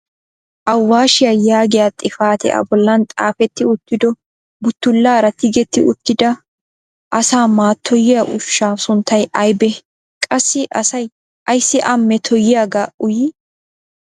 Awashiya yaagiya xifatee a bollan xaafeti uttido buttulaara tigetti uttida asaa mattoyiyaa ushsha sunttay aybbe? qassi asay ayssi a mettoyiyaaga uyyii?